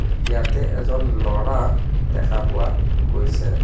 ইয়াতে এজন ল'ৰা দেখা পোৱা গৈছে.